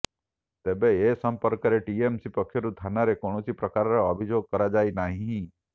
ତେବେ ଏ ସମ୍ପର୍କରେ ଟିଏମସି ପକ୍ଷରୁ ଥାନାରେ କୌଣସି ପ୍ରକାରର ଅଭିଯୋଗ କରାଯାଇ ନାହିଁ